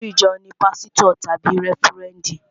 Olórí ìjọ ní pásítọ̀ tàbí rẹ́fúrẹ́ndì